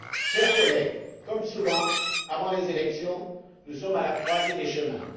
Chers collègues, comme souvent avant les élections, nous sommes à la croisée des chemins.